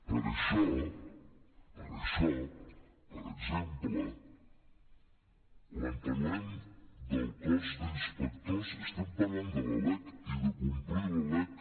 per això per això per exemple quan parlem del cos d’inspectors estem parlant de la lec i de complir la lec